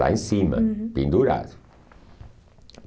Lá em cima, uhum, pendurado.